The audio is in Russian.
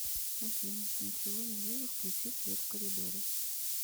афина ничего не вижу включи свет в коридоре